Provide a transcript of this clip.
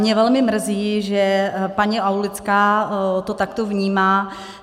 Mě velmi mrzí, že paní Aulická to takto vnímá.